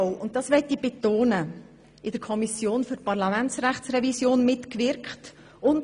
Betonen möchte ich, dass er auch in der Kommission für die Parlamentsrechtsrevision mitgewirkt hat.